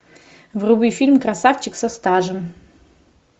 вруби фильм красавчик со стажем